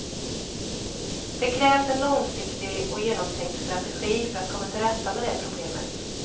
Det krävs en långsiktig och genomtänkt strategi för att komma till rätta med det problemet.